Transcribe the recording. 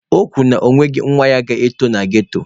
O kwuru na ọ nweghị nwa ya ga-eto na ghetto.